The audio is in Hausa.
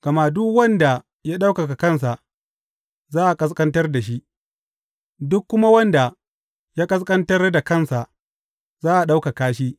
Gama duk wanda ya ɗaukaka kansa, za a ƙasƙantar da shi, duk kuma wanda ya ƙasƙantar da kansa, za a ɗaukaka shi.